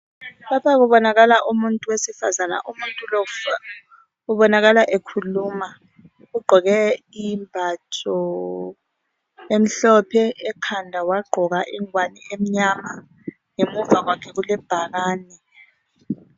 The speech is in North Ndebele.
Lapha kubonakala umuthi wesifazane. Umuntu lo ubonakala ekhuluma ugqoke imbatho emhlophe ekhanda wagqoka emnyama ngemuva kwakhe kulebhakane.